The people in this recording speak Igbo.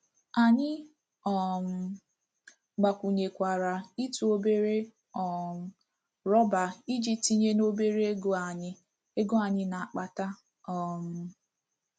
Anyị um gbakwụnyekwara ị́tụ obere um rọba iji tinye n'obere ego anyị ego anyị na-akpata um.